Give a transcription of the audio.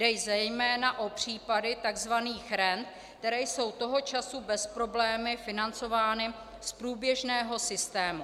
Jde zejména o případy tzv. rent, které jsou toho času bez problému financovány z průběžného systému.